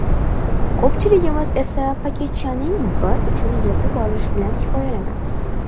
Ko‘pchiligimiz esa paketchaning bir uchini yirtib olish bilan kifoyalanamiz.